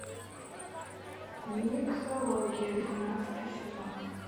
миксология двенадцатый сезон